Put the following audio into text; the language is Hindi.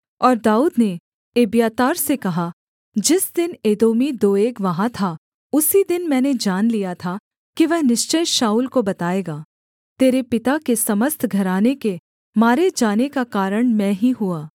और दाऊद ने एब्यातार से कहा जिस दिन एदोमी दोएग वहाँ था उसी दिन मैंने जान लिया था कि वह निश्चय शाऊल को बताएगा तेरे पिता के समस्त घराने के मारे जाने का कारण मैं ही हुआ